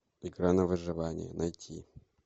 игра на выживание найти